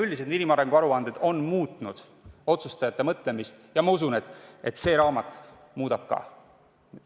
Üldiselt on inimarengu aruanded muutnud otsustajate mõtlemist ja ma usun, et see raamat muudab ka.